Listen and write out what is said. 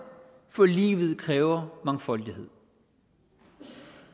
for livet kræver mangfoldighed